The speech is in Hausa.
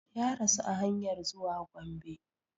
Ya rasu a hanyar zuwa Gombe